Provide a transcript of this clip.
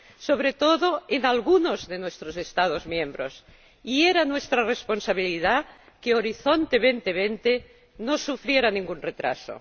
sobre todo en algunos de nuestros Estados miembros, y era nuestra responsabilidad que Horizonte 2020 no sufriera ningún retraso.